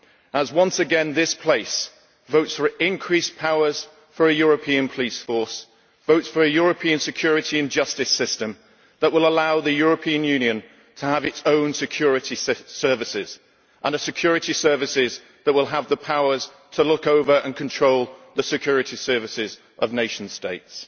as, once again, this place votes for increased powers for a European police force, votes for a European security and justice system that will allow the European Union to have its own security services, and security services that will have the powers to look over and control the security services of nation states.